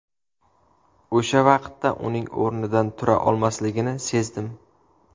O‘sha vaqtda uning o‘rnidan tura olmasligini sezdim.